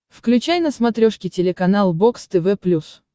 включай на смотрешке телеканал бокс тв плюс